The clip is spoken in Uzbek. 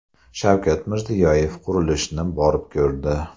Shavkat Mirziyoyev qurilishni borib ko‘rdi.